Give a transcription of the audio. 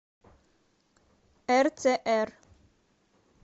рцр